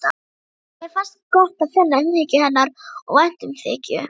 Mér fannst gott að finna umhyggju hennar og væntumþykju.